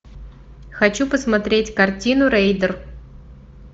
хочу посмотреть картину рейдер